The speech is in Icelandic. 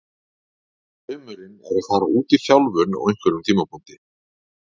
Draumurinn er að fara út í þjálfun á einhverjum tímapunkti.